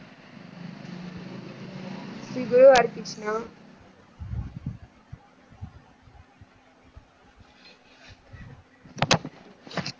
Sri Guru Hari Krishna.